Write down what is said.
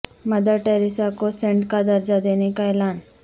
mother Teresa کو saint کا درجہ دینے کا اعلان